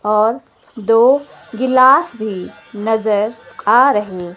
और दो गिलास भी नजर आ रहे--